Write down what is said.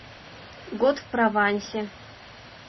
год в провансе